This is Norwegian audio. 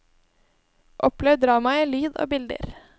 Opplev dramaet i lyd og bilder.